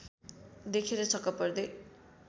देखेर छक्क पर्दै